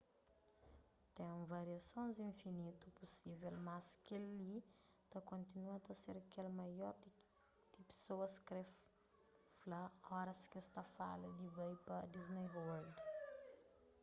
ten variasons infinitu pusível mas kel-li ta kontinua ta ser kel ki maioria di pesoas kre fla oras ki es ta fala di bai pa disney world